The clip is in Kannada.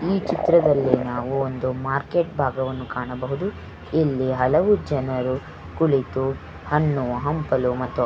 ಈ ಚಿತ್ರದಲ್ಲಿ ನಾವು ಒಂದು ಮಾರ್ಕೆಟ್ ಭಾಗವನ್ನು ಕಾಣಬಹುದು ಇಲ್ಲಿ ಹಲವು ಜನರು ಕುಳಿತು ಹಣ್ಣು ಹಂಪಲು ಮತ್ತು --